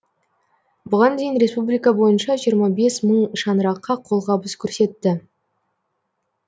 бұған дейін республика бойынша жиырма бес мың шаңыраққа қолғабыс көрсетті